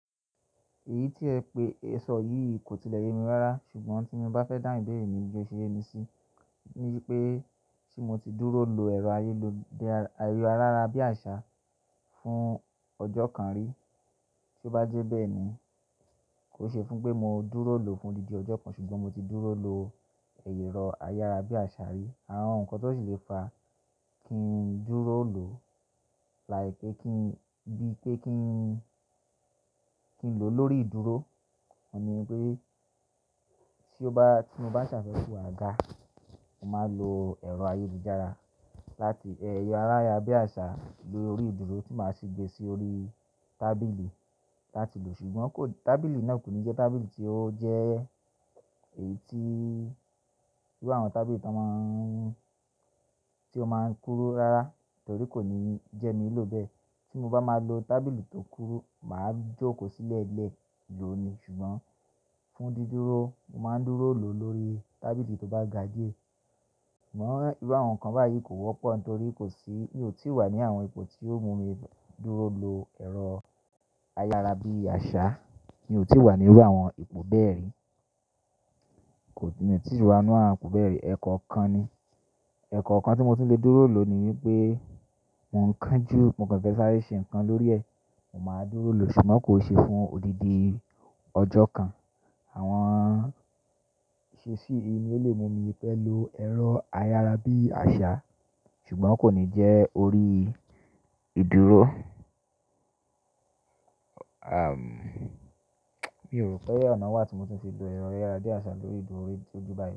Èyí tí ẹ pe ẹ̀ṣọ́ yìí kò tilẹ̀ yemi rárá ṣùgbọ́n tí mo bá fẹ́ dáhùn ìbéèrè ni bí ó ṣe yé mi si, ní pé ṣé mo ti dúró lo ẹ̀rọ ayélujára ayára-bí-àṣá fún ọjọ́ kan rí. Tí ó bá jẹ́ bẹ́ẹ̀ ni, kò n ṣe fún pé mo dúró lòó fún odindi ọ́jọ́ kan ṣùgbọ́n mo ti dúró lo ẹ̀rọ ayárabíàṣá rí. Àwọn nǹkan tó sì le fa kí n dúró lò like pé kí n bí pé kí n kí n lò lórí ìdúró. Òun ní pé tí mo bá ṣàfẹ́ku àga, mo máa lo ẹ̀rọ ayélujára láti ẹ̀rọ ayárabíàṣá lórí ìdúró tí màá ṣi gbé sí orí tábìlì láti lò ṣùgbọ́n kò tábìlì náà kò ní jẹ́ tábìlì tí ó jẹ́ èyí tí bí àwọn tábìlì tí a máa ń tí ó máa ń kúrú rárá torí kò ní jẹ́ mi lò bẹ́ẹ̀. Tí mo bá máa lo tábìlì tó kúrú, màá jókòó sílẹ̀ lẹ́ẹ̀ lò ni ṣùgbọ́n fún dídúró, mo máa ń dúró lò lórí tábìlì tó bá ga díẹ̀. Ṣùgbọ́n ìrú àwọn nǹkan báyìí kò wọ́pọ̀ nítorí kò sí mi ò tí wá ní àwọn ipò tí ó mú mi dúró lo ẹ̀rọ ayára-bí-àṣá. Mi ò tí wá ní irú àwọn ipò bẹ́ẹ̀ rí. Kò ti mi ò tí rí wọnú àwọn ipò bẹ́ẹ̀ rí. Ẹ̀kọ́ kan ni ẹ̀kọ́ kan tí mo ti ń lè dúró lò ni wípé mo ń kánjú mo kàn fẹ́ sára ṣe nǹkan lórí ẹ̀, mo máa dúró lò ṣùgbọ́n kò ṣe fún odidi ọjọ́ kan. Àwọn ìṣesí yìí ni ó lè mú mi pẹ́ lo ẹ̀rọ ayára-bí-àṣá ṣùgbọ́n kò ní jẹ́ orí ìdúró. Àn, mi ò rò pé ọ̀nà wà tí mo ti ń ṣe lo ẹ̀rọ ayára-bí-àṣá lórí ìdúró tojúbayo.